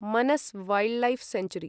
Manas wildlife sanctuary